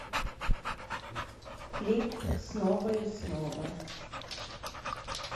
клип снова и снова